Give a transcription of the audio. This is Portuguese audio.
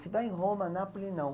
Se vai em Roma, Nápoles, não.